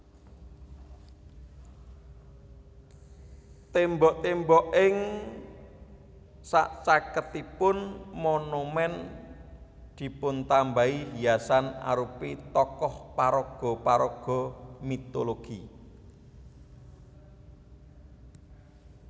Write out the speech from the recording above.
Tembok tembok ing sacaketipun monumen dipuntambahi hiasan arupi tokoh paraga paraga mitologi